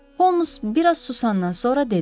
Homs biraz susandan sonra dedi.